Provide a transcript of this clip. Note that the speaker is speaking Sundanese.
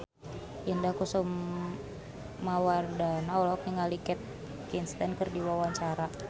Indah Wisnuwardana olohok ningali Kate Winslet keur diwawancara